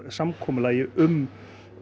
samkomulagi um